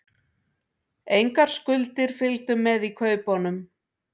Engar skuldir fylgdu með í kaupunum